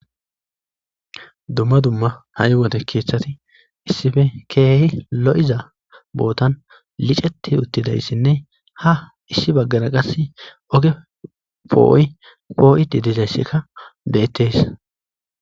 Dumma dumma ha'i wode keeththati issipe keehi lo'iza bootan licceti uttidayssine ha issi bagara qaassi oge po'oy po'idi dizayssikka bettees.